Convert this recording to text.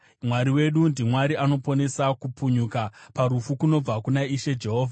Mwari wedu ndiMwari anoponesa; kupunyuka parufu kunobva kuna Ishe Jehovha.